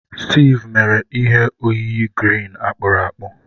Steve mere ihe oyiyi green green akpụrụ akpụ.